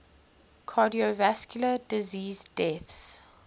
cardiovascular disease deaths